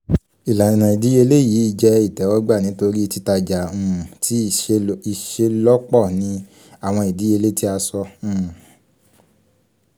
ilana idiyele yii jẹ itẹwọgba nitori titaja um ti iṣelọpọ ni um awọn idiyele ti a sọ um